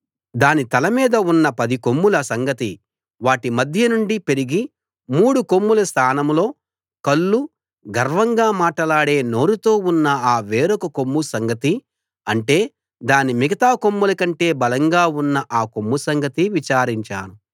దాని తల మీద ఉన్న పది కొమ్ముల సంగతి వాటి మధ్య నుండి పెరిగి మూడు కొమ్ముల స్థానంలో కళ్ళు గర్వంగా మాటలాడే నోరుతో ఉన్న ఆ వేరొక కొమ్ము సంగతి అంటే దాని మిగతా కొమ్ములకంటే బలంగా ఉన్న ఆ కొమ్ము సంగతి విచారించాను